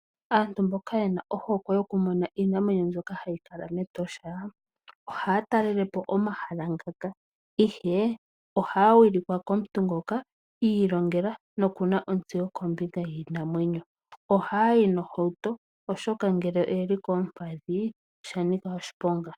Aantu mboka ye na ohokwe yoku mona iinamwenyo mbyoka yi li mEtosha, ohaya talele po omahala ngaka. Ihe ohaya wilikwa komuntu ngoka I ilongela noku na insteyo yiinamwenyo. Ohaya yi nohauto oshoka ngele iyayi kolupadhi osha nika oshiponga.